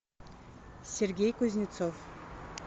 сергей кузнецов